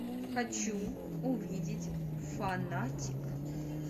хочу увидеть фанатик